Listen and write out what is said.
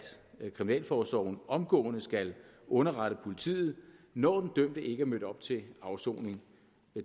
kriminalforsorgen omgående skal underrette politiet når den dømte ikke er mødt op til afsoning